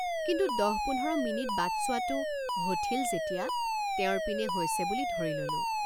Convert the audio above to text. কিন্তু দহ পোন্ধৰ মিনিট বাট চোৱাতো হঠিল যেতিয়া তেওঁৰ পিনে হৈছে বুলি ধৰি ললোঁ।